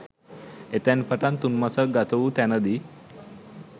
එතැන් පටන් තුන් මසක් ගත වූ තැනදී